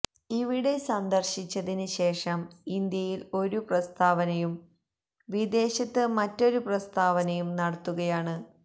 ഇവിടെ സന്ദര്ശിച്ചതിന് ശേഷം ഇന്ത്യയില് ഒരു പ്രസ്താവനയും വിദേശത്ത് മറ്റൊരു പ്രസ്താവനയും നടത്തുകയാണ്